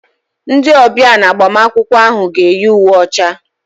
Ndị ọbịa na agbamakwụkwọ ahụ ga-eyi uwe ọcha.